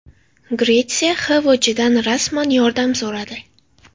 Gretsiya XVJdan rasman yordam so‘radi.